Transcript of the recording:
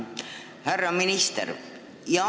Härra minister!